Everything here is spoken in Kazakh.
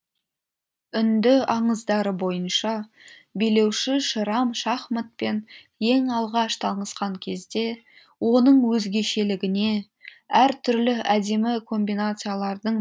үнді аңыздары бойынша билеуші шерам шахматпен ең алғаш танысқан кезде оның өзгешелігіне әр түрлі әдемі комбинациялардың